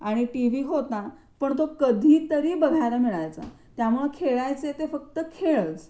आणि टिव्ही होता पण तो कधीतरी बघायला मिळायचा. त्यामुळे खेळायचे ते फक्त खेळच.